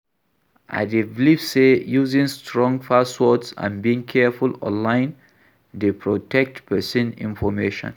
I dey believe say using strong passwords and being careful online dey protect pesin information.